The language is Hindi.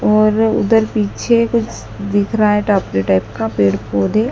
और उधर पीछे कुछ दिख रहा है टाइप का पेड़ पौधे--